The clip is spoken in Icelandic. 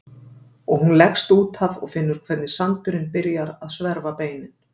Og hún leggst út af og finnur hvernig sandurinn byrjar að sverfa beinin.